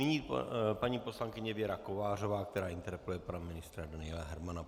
Nyní paní poslankyně Věra Kovářová, která interpeluje pana ministra Daniela Hermana.